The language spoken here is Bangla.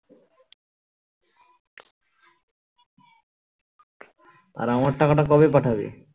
আর আমার টাকাটা কবে পাঠাবে